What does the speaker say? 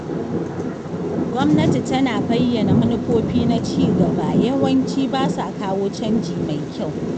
Gwamnati tana bayyana manufofi na cigaba yawanci ba sa kawo canji mai kyau.